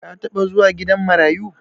ka taba zuwa gidan marayu